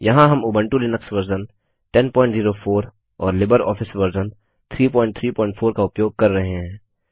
यहाँ हम Ubuntu Linux version 1004 और लिबरऑफिस वर्जन 334 का उपयोग कर रहे हैं